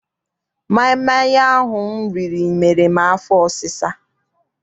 Maịmaị ahụ m riri mere m afọ ọsisa.